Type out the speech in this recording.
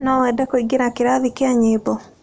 No wende kũingĩra kĩrathi kĩa nyĩmbo?